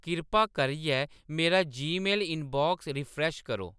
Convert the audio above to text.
किरपा करियै मेरा जीमेल इनबाक्स रीफ्रेश करो